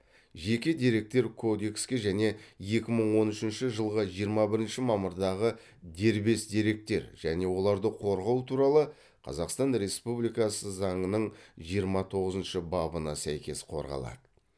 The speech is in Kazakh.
жеке деректер кодекске және екі мың он үшінші жылғы жиырма бірінші мамырдағы дербес деректер және оларды қорғау туралы қазақстан республикасы заңының жиырма тоғызыншы бабына сәйкес қорғалады